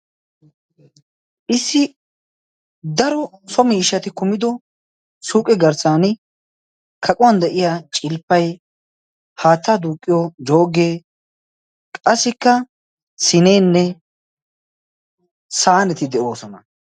issi daro qomo ishati kumido suuqe garssan kaquwan de'iiya cilppay haattaa duuqqiyo jooggee qassikka sineenne saaneti de'oosona.